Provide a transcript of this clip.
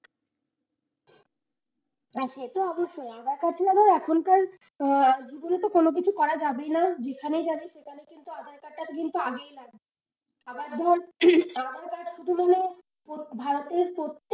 হ্যাঁ সে তো অবশ্যই aadhaar card ছাড়া তো এখনকার জীবনে তো কোন কিছু করাই যাবেই না, যেখানেই যাবে সেখানে কিন্তু aadhaar card টা কিন্তু আগেই লাগবে আবার ধর উম উম aadhaar card শুধু মানে ভারতের প্রত্যেক,